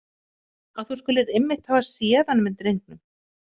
Að þú skulir einmitt hafa séð hann með drengnum.